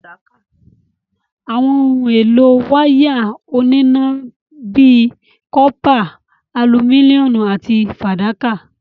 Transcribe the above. Àwọn ohun èlò wáyà oníná ni bíi cọ́pà, alumíníọ̀mù àti fàdákà.